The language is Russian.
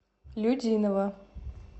людиново